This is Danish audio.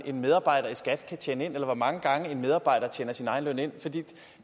en medarbejder i skat kan tjene ind eller hvor mange gange en medarbejder tjener sin egen løn ind for det